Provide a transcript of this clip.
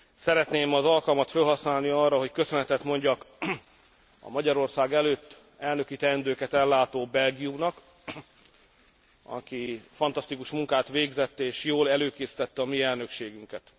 Szeretném az alkalmat fölhasználni arra, hogy köszönetet mondjak a Magyarország előtt elnöki teendőket ellátó Belgiumnak, aki fantasztikus munkát végzett és jól előkészítette a mi elnökségünket.